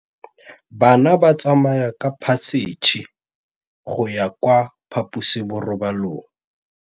Bana ba tsamaya ka phašitshe go ya kwa phaposiborobalong.